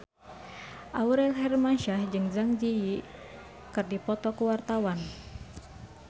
Aurel Hermansyah jeung Zang Zi Yi keur dipoto ku wartawan